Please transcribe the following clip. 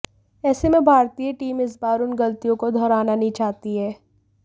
ऐसे में भारतीय टीम इस बार उन गलतियों को दोहराना नहीं चाहती है